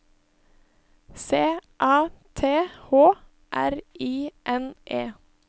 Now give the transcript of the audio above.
C A T H R I N E